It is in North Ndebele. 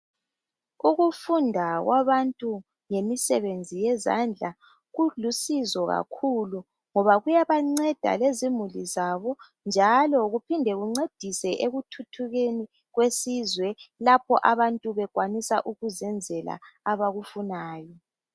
Ukufunda kwabantu ngemisebenzi yezandla kulusizo kakhulu ngoba kuyabanceda lezimuli zabo njalo kuphinde kuncedise ekuthuthukeni kwesizwe lapha abantu bekwanisa ukuzenzela abakufunayo